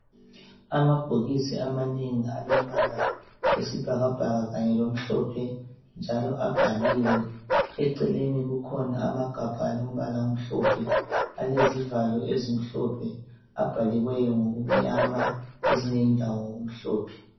Amabhokisi amanengi alombala wesibhakabhaka kanye lomhlophe njalo abhaliwe. Eceleni kukhona amagabha alo mbala omhlophe alezivalo ezimhlophe abhaliweyo ngokumnyama kwezinye indawo ngokumhlophe.